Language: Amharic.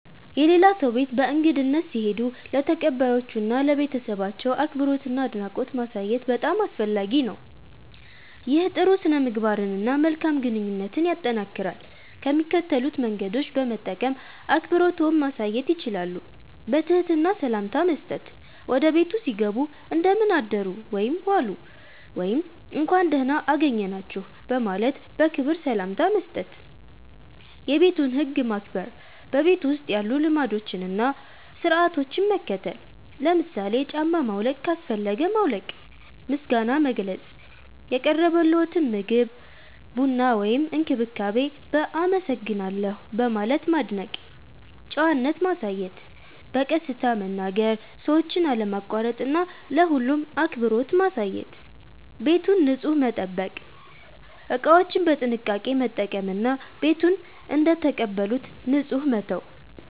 የሌላ ሰው ቤት በእንግድነት ሲሄዱ ለተቀባዮቹ እና ለቤተሰባቸው አክብሮትና አድናቆት ማሳየት በጣም አስፈላጊ ነው። ይህ ጥሩ ሥነ-ምግባርን እና መልካም ግንኙነትን ያጠናክራል። ከሚከተሉት መንገዶች በመጠቀም አክብሮትዎን ማሳየት ይችላሉ፦ በትህትና ሰላምታ መስጠት – ወደ ቤቱ ሲገቡ “እንደምን አደሩ/ዋሉ” ወይም “እንኳን ደህና አገኘናችሁ” በማለት በክብር ሰላምታ መስጠት። የቤቱን ህግ ማክበር – በቤቱ ውስጥ ያሉ ልማዶችን እና ሥርዓቶችን መከተል። ለምሳሌ ጫማ ማውለቅ ካስፈለገ ማውለቅ። ምስጋና መግለጽ – የቀረበልዎትን ምግብ፣ ቡና ወይም እንክብካቤ በ“አመሰግናለሁ” በማለት ማድነቅ። ጨዋነት ማሳየት – በቀስታ መናገር፣ ሰዎችን አለማቋረጥ እና ለሁሉም አክብሮት ማሳየት። ቤቱን ንጹህ መጠበቅ – እቃዎችን በጥንቃቄ መጠቀም እና ቤቱን እንደተቀበሉት ንጹህ መተው።